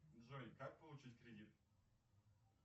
джой как получить кредит